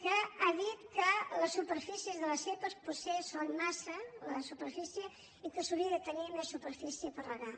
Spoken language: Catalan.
que ha dit que les superfícies de les zepa potser són massa la superfície i que s’hauria de tenir més superfície per regar